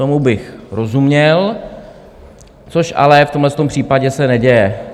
Tomu bych rozuměl, což ale v tomhle případě se neděje.